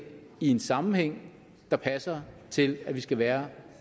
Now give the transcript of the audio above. i en sammenhæng der passer til at man skal være